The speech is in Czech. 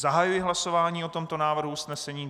Zahajuji hlasování o tomto návrhu usnesení.